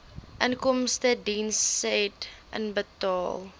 inkomstediens said inbetaal